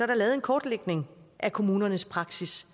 der lavet en kortlægning af kommunernes praksis